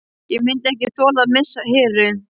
Ég myndi ekki þola að missa Heru.